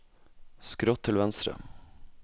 skrått til venstre